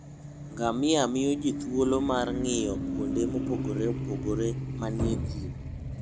Ngamia miyo ji thuolo mar ng'iyo kuonde mopogore opogore manie thim.